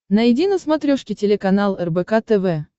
найди на смотрешке телеканал рбк тв